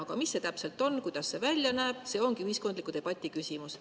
Aga mis see täpselt on, kuidas see välja näeb, see ongi ühiskondliku debati küsimus.